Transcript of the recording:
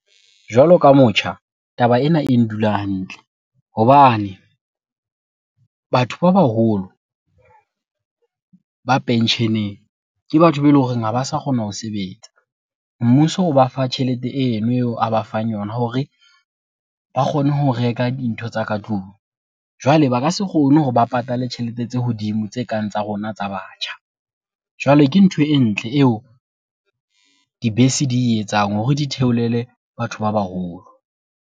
Jwalo ka motjha, taba ena e ndula hantle hobane batho ba baholo ba pensheneng ke batho be eleng horeng ha ba sa kgona ho sebetsa. Mmuso o ba fa tjhelete eno eo a ba fang yona hore ba kgone ho reka dintho tsa ka tlung. Jwale ba ka se kgone hore ba patale tjhelete tse hodimo tse kang tsa rona tsa batjha. Jwale ke ntho e ntle eo dibese di e etsang hore di theolele batho ba baholo.